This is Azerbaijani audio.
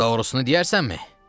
Doğrusunu deyərsənmi?